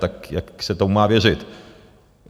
Tak jak se tomu má věřit?